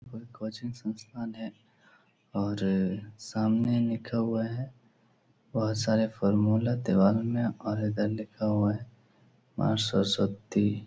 कोई कोचिंग संस्थान है और सामने लिखा हुआ है बहुत सारे फॉर्मूला दिवाल में और इधर लिखा हुआ है माँ सरस्वती।